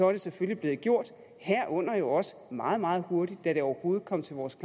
er det selvfølgelig blevet gjort herunder jo også meget meget hurtigt da det overhovedet kom til vores